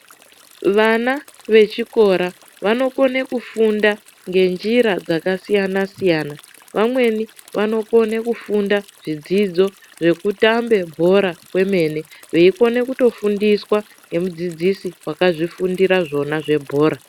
Vana vechikora vanokona kufunda ngenjira dzakasiyana siyana . Vamweni vanokone kufunda zvidzidzo zvekutambe bhora kwemene, veikone kutofundiswa ngemudzidzisi wakazvifunda zvona zvebhora.